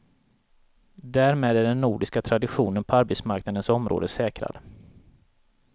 Därmed är den nordiska traditionen på arbetsmarknadens område säkrad.